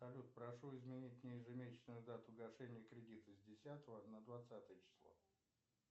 салют прошу изменить мне ежемесячную дату гашения кредита с десятого на двадцатое число